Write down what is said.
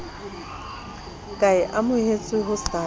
ka e amohetswe ho sasa